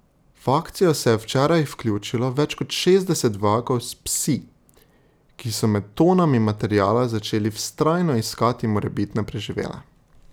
V akcijo se je včeraj vključilo več kot šestdeset vojakov s psi, ki so med tonami materiala začeli vztrajno iskati morebitne preživele.